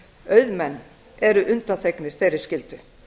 auðmenn eru undanþegnir þeirri skyldu